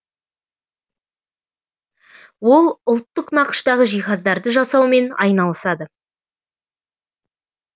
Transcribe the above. ол ұлттық нақыштағы жиһаздарды жасаумен айналысады